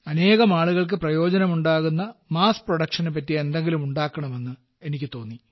അനേകം ആളുകൾക്ക് പ്രയോജനം ഉണ്ടാകുന്ന വൻ തോതിലുള്ള ഉല്പാദനത്തിന് പറ്റിയ എന്തെങ്കിലും ഉണ്ടാക്കണമെന്ന് എനിക്ക് തോന്നി